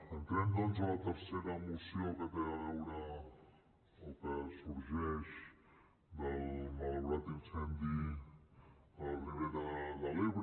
entrem doncs a la tercera moció que té a veure o que sorgeix del malaurat incendi a la ribera de l’ebre